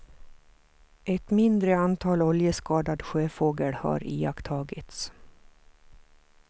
Ett mindre antal oljeskadad sjöfågel har iakttagits.